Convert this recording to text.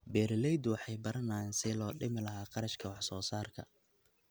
Beeraleydu waxay baranayaan sidii loo dhimi lahaa kharashka wax soo saarka.